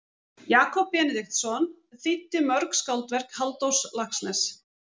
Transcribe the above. Jakob Benediktsson þýddi mörg skáldverk Halldórs Laxness.